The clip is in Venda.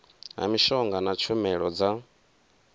ha mishonga na tshumelo dza